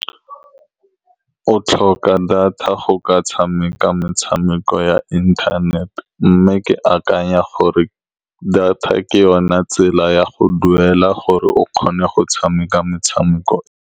O tlhoka data go ka tshameka metshameko ya internet-e, mme ke akanya gore data ke yone tsela ya go duela gore o kgone go tshameka metshameko.